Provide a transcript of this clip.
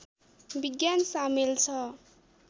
विज्ञान सामेल छ